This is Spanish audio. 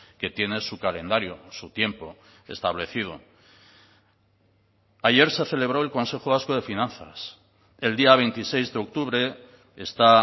que tiene su calendario su tiempo establecido ayer se celebró el consejo vasco de finanzas el día veintiséis de octubre está